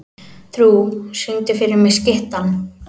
Trú, syngdu fyrir mig „Skyttan“.